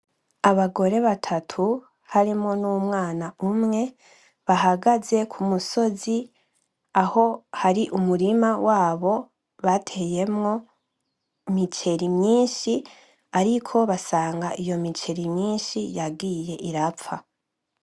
Abagore batatu harimwo n’umwana umwe bahagaze ku musozi, Aho hari umurima wabo bateyemwo imiceri myinshi ariko basanga iyo miceri myinshi yagiye irapfa.